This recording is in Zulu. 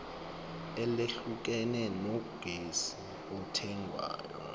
elehlukene logesi othengwayo